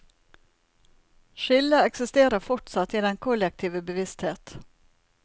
Skillet eksisterer fortsatt i den kollektive bevissthet.